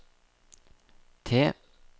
T